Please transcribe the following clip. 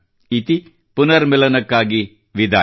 ಇತಿ ಪುನರ್ಮಿಲನಕ್ಕಾಗಿ ವಿದಾಯ